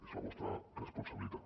és la vostra responsabilitat